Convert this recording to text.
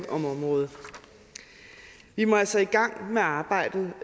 om området vi må altså i gang med arbejdet